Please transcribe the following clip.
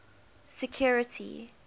security